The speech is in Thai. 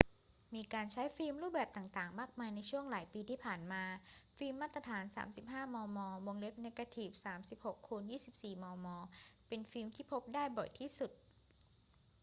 มีการใช้ฟิล์มรูปแบบต่าง ๆ มากมายในช่วงหลายปีที่ผ่านมา ฟิล์มมาตรฐาน 35 มม. เนกาทีฟ 36 x 24 มม. เป็นฟิล์มที่พบได้บ่อยที่สุด